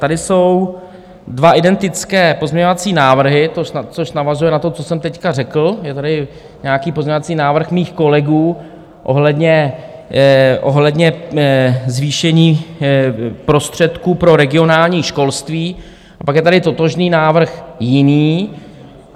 Tady jsou dva identické pozměňovací návrhy, což navazuje na to, co jsem teď řekl: je tady nějaký pozměňovací návrh mých kolegů ohledně zvýšení prostředků pro regionální školství a pak je tady totožný návrh jiný.